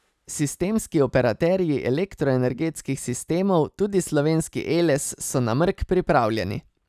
Sistemski operaterji elektroenergetskih sistemov, tudi slovenski Eles, so na mrk pripravljeni.